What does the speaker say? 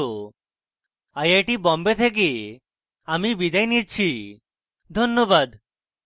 I I T Bombay থেকে আমি বিদায় নিচ্ছি ধন্যবাদ